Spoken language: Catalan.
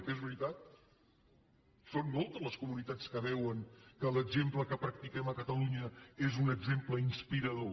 que és veritat són moltes les comunitats que veuen que l’exemple que practiquem a catalunya és un exemple inspirador